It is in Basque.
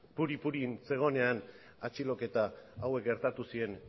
puri purin zegoenean atxiloketa hauek gertatu ziren